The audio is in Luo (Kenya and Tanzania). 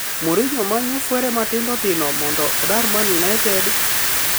Mourinho manyo fwere matindo tindo mondo odar Man Utd?